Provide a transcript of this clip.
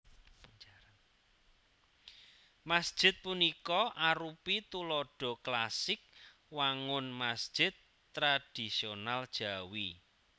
Masjid punika arupi tuladha klasik wangun masjid tradhisional Jawi